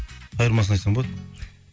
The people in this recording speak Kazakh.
қайырмасын айтсаң болады